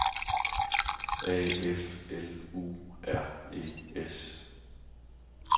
A F L U R E S